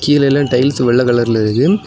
இதுல எல்லா டைல்ஸ் வெள்ளை கலர்ல இருக்கு.